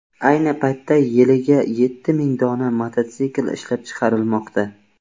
Ayni paytda yiliga yetti ming dona mototsikl ishlab chiqarilmoqda.